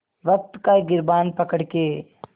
वक़्त का गिरबान पकड़ के